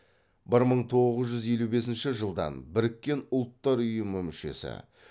бір мың тоғыз жүз елу бесінші жылдан біріккен ұлттар ұйымының мүшесі